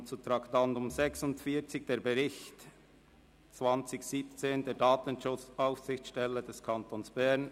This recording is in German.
Wirkommen zum Traktandum 46, dem Bericht der Datenschutzaufsichtsstelle des Kantons Bern.